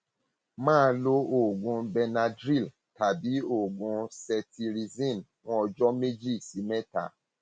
máa lo oògùn benadryl tàbí oògùn cetirizine fún ọjọ méjì sí mẹta